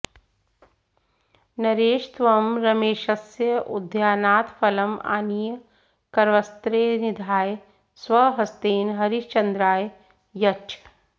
नरेश त्वं रमेशस्य उद्यानात् फलम् आनीय करवस्त्रे निधाय स्वहस्तेन हरिश्चन्द्राय यच्छ